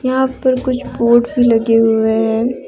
यहां पर कुछ बोर्ड भी लगे हुए हैं।